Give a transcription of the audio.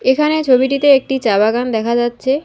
এখানে ছবিটিতে একটি চা বাগান দেখা যাচ্ছে।